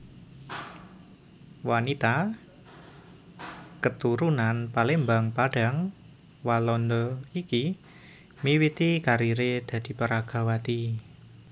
Wanita keturunan Palembang Padang Walanda iki miwiti karieré dadi peragawati